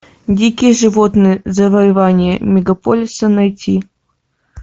дикие животные завоевание мегаполиса найти